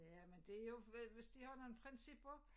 Ja men det jo men hvis de har nogle principper